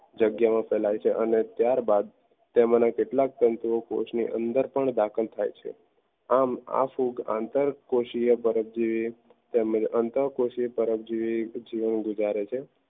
જગ્યામાં ફેલાય છે અને ત્યારબાદ તેમાંના કેટલાક તંતુઓ કોશોની અંદર પણ દાખલ થાય છે આમ આ ફૂગ અંતરકોશિયા જીવન ગુજારે છે